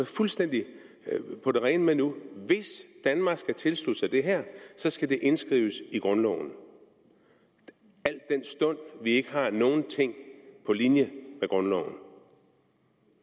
fuldstændig på det rene med nu at hvis danmark skal tilslutte sig det her skal det indskrives i grundloven al den stund vi ikke har nogen ting på linje med grundloven